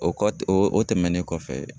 O kɔ tɛ o tɛmɛnen kɔfɛ.